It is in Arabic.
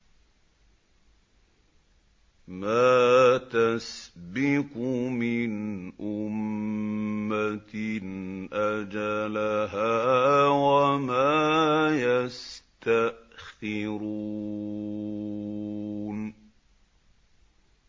مَّا تَسْبِقُ مِنْ أُمَّةٍ أَجَلَهَا وَمَا يَسْتَأْخِرُونَ